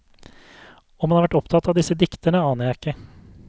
Om han har vært opptatt av disse dikterne aner jeg ikke.